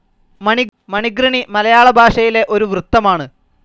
മണിഘൃണി മലയാള ഭാഷയിലെ ഒരു വൃത്തമാണ്.